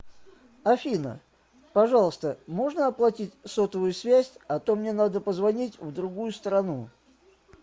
афина пожалуйста можно оплатить сотовую связь а то мне надо позвонить в другую страну